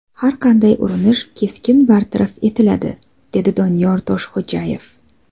Har qanday urinish keskin bartaraf etiladi”, dedi Doniyor Toshxo‘jayev.